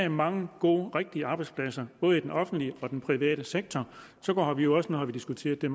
er mange gode rigtige arbejdspladser både i den offentlige og i den private sektor nu har vi jo diskuteret det